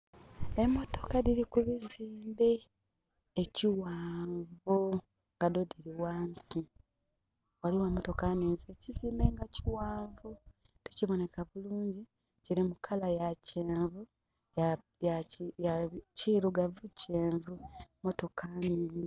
Emotoka dhili ku bizimbe ekighanvu nga dho dhili ghansi. Ghaligho emotoka nhingyi ekiziimbe nga kighanvu, tikiboneka bulungi. Kili mu colour ya kyenvu, ya kirugavu kyenvu. Motoka nhingyi.